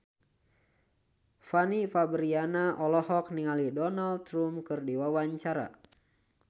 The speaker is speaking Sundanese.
Fanny Fabriana olohok ningali Donald Trump keur diwawancara